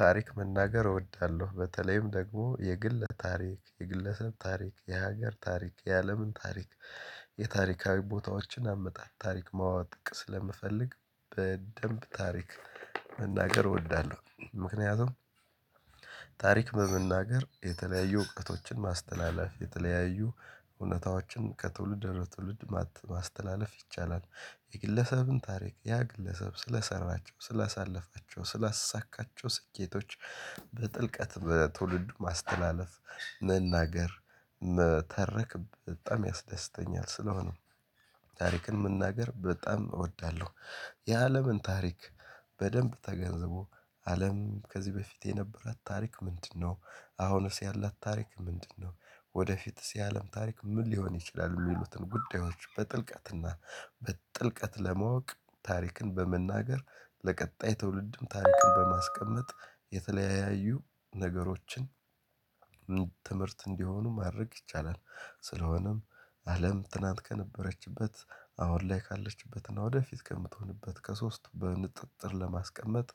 ታሪክ መናገር እወዳለሁ በተለይም ደግሞ የግለ ታሪክ የግለ ሰብ ታሪክ የሀገር ታሪክ የአለምን ታሪክ የታሪካዊ ቦታዎችን አመጣጥ ታሪክ ማዋቅ ስለምፈልግ በደንብ ታሪክ መናገር እወዳለሁ። ምክንያቱም ታሪክ በመናገር የተለያዩ እውቀቶችን ማስተላለፍ የተለያዩ እውነታዎችን ከትውልድ ወደ ትውልድ ማስተላለፍ ይቻላል። የግለሰብን ታሪክ ያ ግለሰብ ስለሰራቸው ስላሳለፋቸው ስላሳካቸው ስኬቶች በጥልቀት በትውልድ ማስተላለፍ መናገር መተረክ በጣም ያስደስተኛል ስለሆነ። ታሪክን መናገር በጣም እወዳለሁ። የአለምን ታሪክ በደንብ ተገንዝቦ አለም ከዚህ በፊት የነበራት ታሪክ ምንድነው አሁንስ ያላት ታሪክ ምንድነው? ወደፊትስ የአለም ታሪክ ምን ሊሆን ይችላል? የሚሉትን ጉዳዮች በጥልቀትና በጥልቀት ለማወቅ ታሪክን በመናገር ለቀጣይ ትውልድም ታሪክን በማስቀመጥ የተለያዩ ነገሮችን ትምህርት እንዲሆኑ ማድረግ ይቻላል። ስለሆነም አለም ትናንት ከነበረችበት አሁን ላይ ካለችበትና ወደፊት ከምትሆንበት ከሶስቱ በንጥጥር ለማስቀመጥ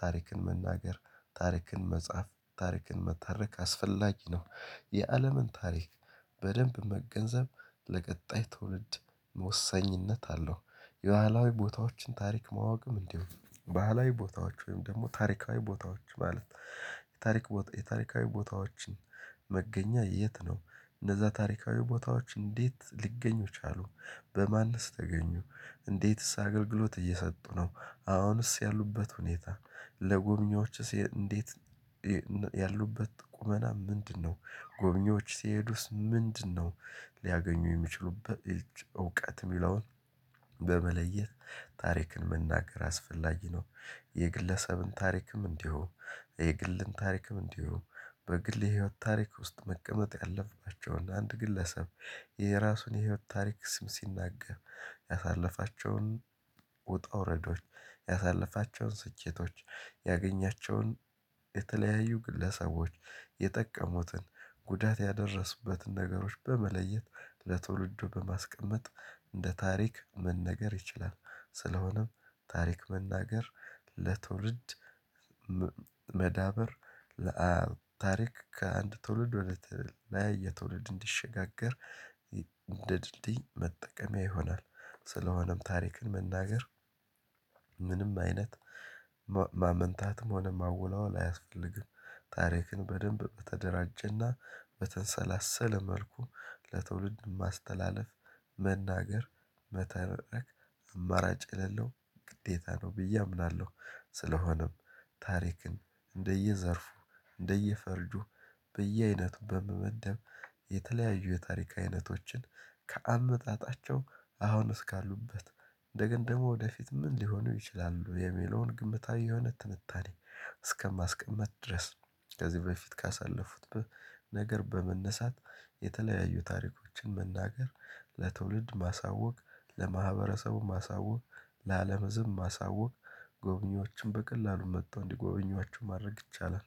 ታሪክን መናገር ታሪክን መጻፍ ታሪክን መታረክ አስፈላጊ ነው። የአለምን ታሪክ በደንብ መገንዘብ ለቀጣይ ትውልድ መወሰኝነት አለው። የባህላዊ ቦታዎችን ታሪክ ማወቅም እንዲሁ ባህላዊ ቦታዎች ወይም ደግሞ ታሪካዊ ቦታዎች ማለት የታሪክ የታሪካዊ ቦታዎችን መገኛ የት ነው? እነዛ ታሪካዊ ቦታዎች እንዴት ሊገኙ ቻሉ? በማንስ ተገኙ እንዴትስ አገልግሎት እየሰጡ ነው። አሁንስ ያሉበት ሁኔታ ለጎብኚዎችስ እንዴት ያሉበት ቁመና ምንድነው? ጎብኚዎች ሲሄዱስ ምንድነው? ሊያገኙ የሚችሉበት እውቀት የሚለውን በመለየት ታሪክን መናገር አስፈላጊ ነው። የግለሰብን ታሪክም እንዲሁ የግልን ታሪክም እንዲሁ በግል የህይወት ታሪክ ውስጥ መቀመጥ ያለፍናቸውን አንድ ግለሰብ የራሱን የህይወት ታሪክ ስም ሲናገር ያሳለፋቸውን ውጣ ውረዶች ያሳለፋቸውን ስኬቶች ያገኛቸውን የተለያዩ ግለሰቦች የጠቀሙትን ጉዳት ያደረሱበትን ነገሮች በመለየት ለትውልዱ በማስቀመጥ እንደ ታሪክ መነገር ይችላል። ስለሆነም ታሪክ መናገር ለትውልድ መዳበር ለታሪክ ከአንድ ትውልድ ወደ ትውልድ ላይ የትውልድ እንዲሸጋገር እንደ ድልድይ መጠቀሚያ ይሆናል። ስለሆነም ታሪክን መናገር ምንም አይነት ማመንታትም ሆነ ማወላወል አያስፈልግም። ታሪክን በደንብ በተደራጀና በተንሰላሰለ መልኩ ለትውልድ ማስተላለፍ መናገር መተረክ አማራጭ የሌለው ግዴታ ነው ብዬ አምናለሁ። ስለሆነም ታሪክን እንደየዘርፉ እንደየፈርጁ በየአይነቱ በመመደብ የተለያዩ የታሪክ አይነቶችን ከአመጣጣቸው አሁን እስካሉበት እንደገን ደግሞ ወደፊት ምን ሊሆኑ ይችላሉ የሚለውን ግምታዊ የሆነ ትንታኔ እስከማስቀመጥ ድረስ። ከዚህ በፊት ካሳለፉት ነገር በመነሳት የተለያዩ ታሪኮችን መናገር ለትውልድ ማሳወቅ ለማህበረሰቡ ማሳወቅ ለአለም ህዝብም ማሳወቅ ጎብኚዎችም በቀላሉ መጥተው እንዲጎበኟቸው ማድረግ ይቻላል።